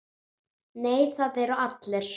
Nei, það eru allir.